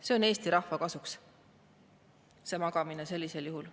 See magamine Eesti rahvale kasuks sellisel juhul.